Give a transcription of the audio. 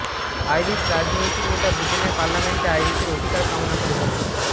Irish রাজনৈতিক নেতা ব্রিটেনের পার্লামেন্টে আইরিশের অধিকার কামনা করেছেন